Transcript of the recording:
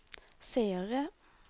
seere